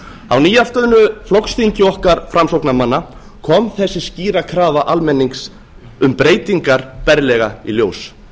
á nýafstöðnu flokksþingi okkar framsóknarmanna kom þessi skýra krafa almennings um breytingar berlega í ljós